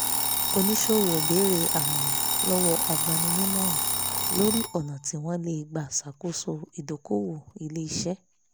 onísòwò béèrè àmọ̀ràn lọ́wọ́ agbanimọ̀ràn lórí ọ̀nà tí wọ́n lè gbà ṣàkóso ìdókòwò ilé-iṣẹ́